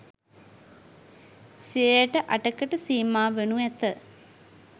සියයට අටකට සීමා වනු ඇත